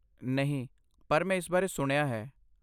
ਨਹੀਂ, ਪਰ ਮੈਂ ਇਸ ਬਾਰੇ ਸੁਣਿਆ ਹੈ।